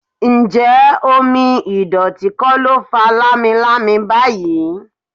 Ǹjẹ́ omi ìdọ̀tí kò ló fa lamilami báyìí?